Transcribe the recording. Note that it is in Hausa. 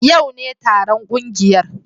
Yau ne taron kungiyar